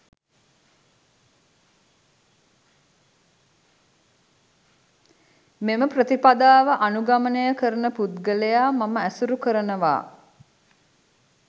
මේ ප්‍රතිපදාව අනුගමනය කරන පුද්ගලයා මම ඇසුරු කරනවා.